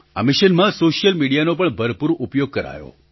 આ મિશનમાં સૉશિયલ મિડિયાનો પણ ભરપૂર ઉપયોગ કરાયો